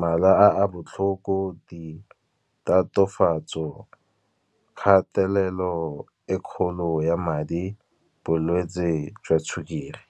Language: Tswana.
mala a botlhoko, ditatofatso, kgatelelo e kgolo ya madi, bolwetsi jwa sukiri.